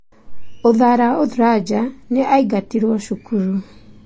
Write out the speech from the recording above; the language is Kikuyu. Uthara Uthraja nĩ aingatirũo cukuru.